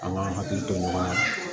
An ka hakili to ɲɔgɔn na